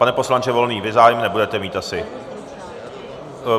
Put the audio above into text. Pane poslanče Volný, vy zájem nebudete mít asi.